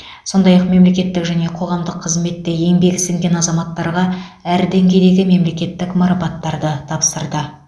сондай ақ мемлекеттік және қоғамдық қызметте еңбегі сіңген азаматтарға әр деңгейдегі мемлекеттік марапаттарды тапсырды